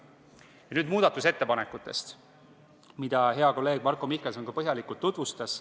Ja nüüd muudatusettepanekutest, mida hea kolleeg Marko Mihkelson põhjalikult tutvustas.